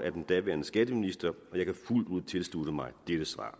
af den daværende skatteminister og jeg kan fuldt ud tilslutte mig dette svar